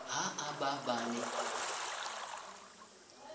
ha e ba ba ne